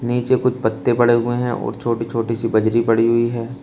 नीचे कुछ पत्ते पड़े हुए हैं और छोटी छोटी सी बजरी पड़ी हुई है।